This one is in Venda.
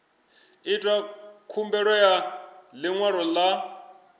itwa khumbelo ya ḽiṅwalo ḽa